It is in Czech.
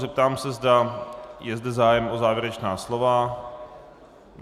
Zeptám se, zda je zde zájem o závěrečná slova.